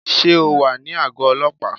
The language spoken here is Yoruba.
Sé o wà ní àgó ọlọ́pàá?